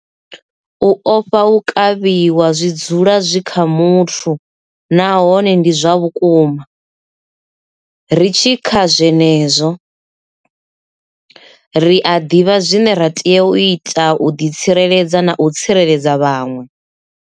U ofha u kavhiwa zwi dzula zwi kha muthu nahone ndi zwa vhukuma. Ri tshi kha zwenezwo, ri a ḓivha zwine ra tea u ita u ḓitsireledza na u tsireledza vhaṅwe.